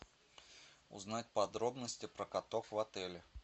узнать подробности про котов в отеле